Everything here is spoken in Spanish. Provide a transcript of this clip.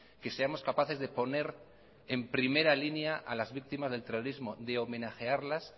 que seamos capaces de poner en primera línea a las víctimas del terrorismo de homenajearlas